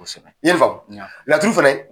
I ye n faamu, laturu fɛnɛ